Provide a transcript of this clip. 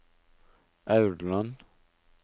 Aurland